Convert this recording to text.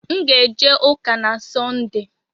M ga-eje ụka na Sọnde.